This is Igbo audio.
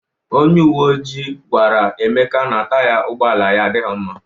Onye uwe ojii gwara Emeka na Taya ụgbọala ya adịghị mma.